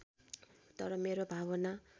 तर मेरो भावाना